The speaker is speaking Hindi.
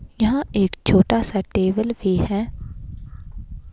यहां एक छोटा सा टेबल भी है।